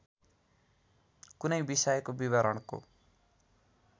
कुनै विषयको विवरणको